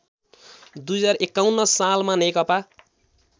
२०५१ सालमा नेकपा